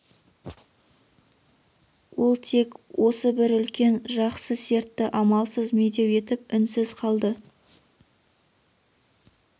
ол тек осы бір үлкен жақсы сертті амалсыз медеу етіп үнсіз қалды